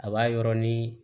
A b'a yɔrɔ ni